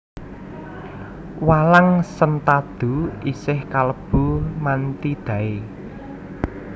Walang sentadu isih kalebu Mantidae